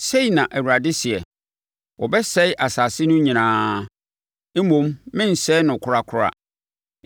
Sei na Awurade seɛ: “Wɔbɛsɛe asase no nyinaa, mmom merensɛe no korakora.